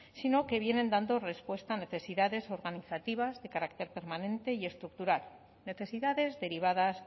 sino que vienen dando respuesta a necesidades organizativas de carácter permanente y estructural necesidades derivadas